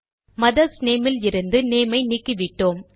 mothers name லிருந்து name ஐ நீக்கிவிட்டோம்